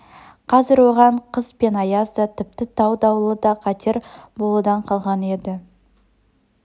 қазір оған қыс пен аяз да тіпті тау дауылы да қатер болудан қалған еді